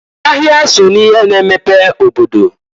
Ahịa so n'ihe na-emepe obodo.